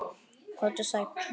Komdu sæl.